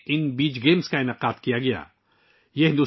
ان beach games کا انعقاد اس سال کے آغاز میں ہی دیو میں کیا گیا تھا